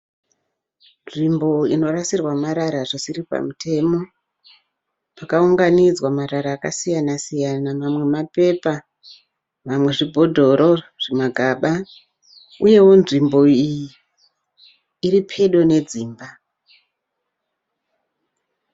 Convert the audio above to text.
Nzvimbo inorasirwa marara zvisiri pamutemo. Pakaunganidzwa marara akasiyana siyana mamwe mapepa mamwe zvibhodoro zvimagaba uyewo nzvimbo iyi iripedo nedzimba.